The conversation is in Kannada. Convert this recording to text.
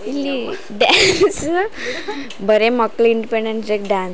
ಇಲ್ಲಿ ಡ್ಯಾನ್ಸ್ ಬರಿ ಮಕ್ಳ್ ಇಂಡಿಪೆಂಡೆಂಟ್ ಡೇ ಗೆ ಡ್ಯಾನ್ಸ್ --